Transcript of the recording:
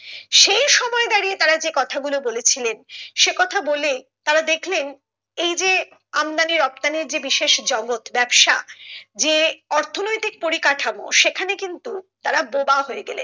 সেই সময় দাঁড়িয়ে তারা যে কথা গুলো বলেছিলেন সে কথা বলে তারা দেখেলন এই যে আমদানি রপ্তানির যে বিশেষ জগৎ ব্যাবসা যে অর্থনৈতিক পরিকাঠামো সেখানে কিন্তু তারা বোবা হয়ে গেলেন